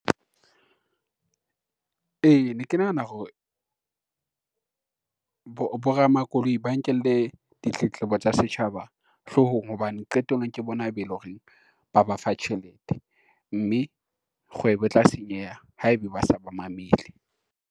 E, ne ke nahana hore bo ramakoloi ba nkele ditletlebo tsa setjhaba hloohong hobane qetellong ke bona be e lo reng ba ba fa tjhelete, mme kgwebo e tla senyeha haebe ba sa ba mamele.